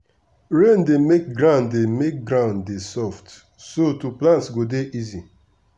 rain dey make ground dey make ground dey soft so to plant go dey easy.